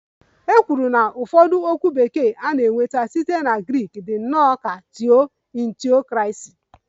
"E kwuru na ụfọdụ okwu Bekee na-enweta site na Grik dị nnọọ ka""Theo"""in theocracy"